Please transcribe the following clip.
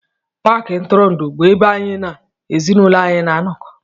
Paakị ntụrụndụ bụ ebe anyị na ezinụlọ anyị na-anọkọ